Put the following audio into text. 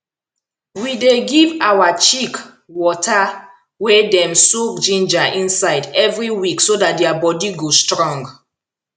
we dey give our chick water wey dem soak ginger inside every week so dat their body go strong